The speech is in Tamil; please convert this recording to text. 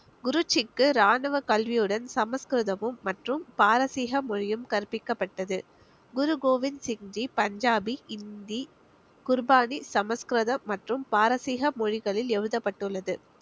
குருஜிக்கு ராணுவ கல்வியுடன் சமஸ்கிருதமும் மற்றும் பாரசீக மொழியும் கற்பிக்கப்பட்டது. குரு கோவிந்த் சிங்ஜி பஞ்சாபி, ஹிந்தி, குர்பானி, சமஸ்கிருதம், மற்றும் பாரசீக மொழிகளில் எழுதப்பட்டுள்ளது